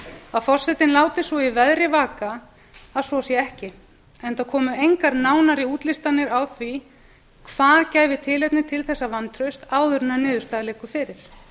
að forsetinn láti svo í veðri vaka að svo sé ekki enda komu engar nánari útlistanir á því hvað gæfi tilefni til þessa vantrausts áður en niðurstaða liggur fyrir